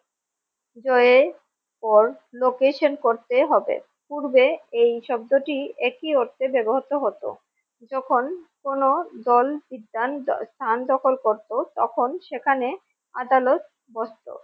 পর location করতে হবে পূর্বে এই শব্দটি একই অর্থে ব্যবহার তো হতো যখন কোন দল সিদ্ধ স্থান দখল করত তখন সেখানে আদালত বসত।